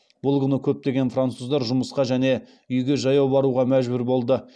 бұл күні көптеген француздар жұмысқа және үйге жаяу баруға мәжбүр болды